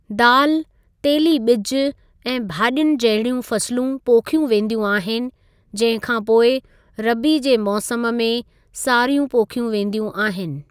दाल, तेली बिॼु ऐं भाजि॒युनि जहिड़ियूं फ़सलूं पोखियूं वेंदियूं आहिनि, जंहिं खां पोइ रबी जे मौसम में सारियूं पोखियूं वेंदियूं आहिनि।